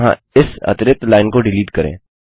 यहाँ इस अतिरिक्त लाइन को डिलीट करें